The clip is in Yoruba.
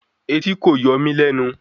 Etí kò yọ mí lẹ́nu